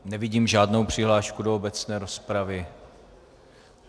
Nevidím žádnou přihlášku do obecné rozpravy.